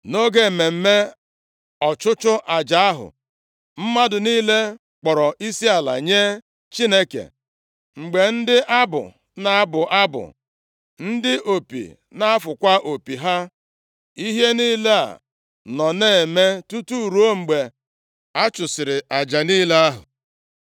Nʼoge mmemme ọchụchụ aja ahụ, mmadụ niile kpọrọ isiala nye Chineke, mgbe ndị abụ na-abụ abụ, ndị opi na-afụkwa opi ha. Ihe niile a nọ na-eme tutu ruo mgbe a chụsịrị aja niile ahụ.